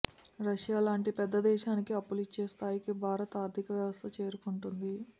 రష్యాలాంటి పెద్ద దేశానికి అప్పులిచ్చే స్థాయికి భారత్ ఆర్ధిక వ్యవస్థ చేరుకుంటుంది